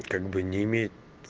как бы не имеет